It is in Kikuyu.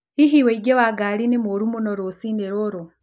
Hihi ũingĩ wa ngari ni mũru muno rũcinĩ rũrũ